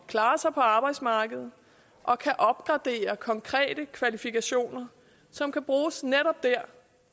klare sig på arbejdsmarkedet og kan opgradere konkrete kvalifikationer som kan bruges netop der